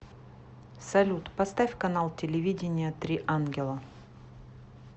салют поставь канал телевидения три ангела